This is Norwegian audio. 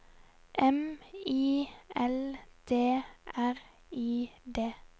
M I L D R I D